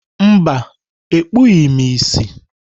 Mba, ekpughị m ìsì.